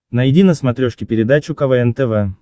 найди на смотрешке передачу квн тв